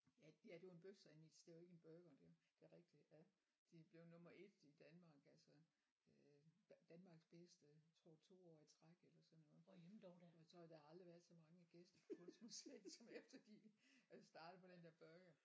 Ja ja det var en bøfsandwich det var ikke en burger det det er rigtigt ja de blev nummer 1 i Danmark altså øh Danmarks bedste tror 2 år i træk eller sådan noget og så har der aldrig været så mange gæster på kunstmuseet som efter de er startet på den der burger